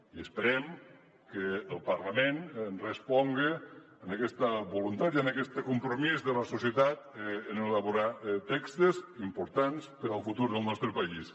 i esperem que el parlament responga a aquesta voluntat i a aquest compromís de la societat en elaborar textos importants per al futur del nostre país